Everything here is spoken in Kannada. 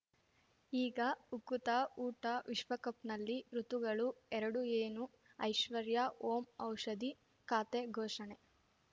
ಈಗ ಉಕುತ ಊಟ ವಿಶ್ವಕಪ್‌ನಲ್ಲಿ ಋತುಗಳು ಎರಡು ಏನು ಐಶ್ವರ್ಯಾ ಓಂ ಔಷಧಿ ಖಾತೆ ಘೋಷಣೆ